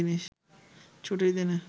ছুটির দিনে